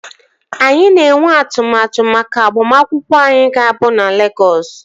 Anyị na-enwe atụmatụ maka agbamakwụkwọ anyị ga-abụ na Legọs